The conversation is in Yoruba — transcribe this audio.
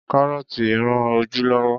Kárọ́tí rán ojú lọ́wọ́.